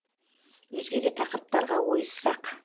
өзге де тақырыптарға ойыссақ